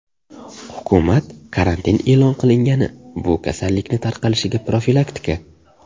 Hukumat karantin e’lon qilgani bu kasallikni tarqalishiga profilaktika.